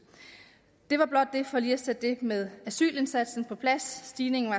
det var blot for lige at sætte det med asylindsatsen på plads stigningen